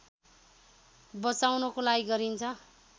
बचाउनको लागि गरिन्छ